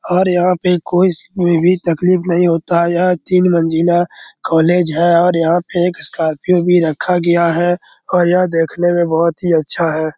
और यहां पर कोई तकलीफ नहीं होता है यह तीन मंजिला कॉलेज है और यहां पर एक स्कॉर्पियो भी रखा गया है और यह देखने में बहुत ही अच्छा है।